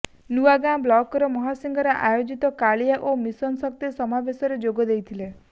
ନୁଆଗାଁ ବ୍ଲକର ମହାସିଙ୍ଗରେ ଆୟୋଜିତ କାଳିଆ ଓ ମିଶନ ଶକ୍ତି ସମାବେଶରେ ଯୋଗଦେଇଛନ୍ତି